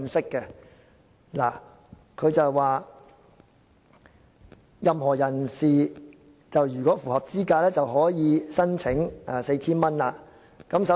文件中提到，任何人士如符合資格便可申請該 4,000 元津貼。